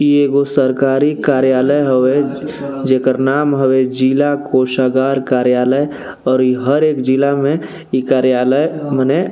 ई एगो सरकारी कार्यालय हवे जेकर नाम हवे जिला कोशागार कार्यालय और इ हरेक जिला मे इ कार्यालय मने--